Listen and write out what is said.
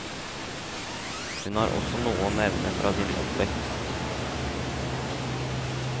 Hun har også noe å hevne fra sin oppvekst.